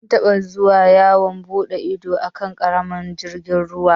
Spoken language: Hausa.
Mun taɓa zuwa yawon buɗe ido a kan ƙaramin jirgin ruwa.